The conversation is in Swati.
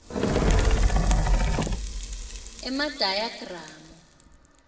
emadayagramu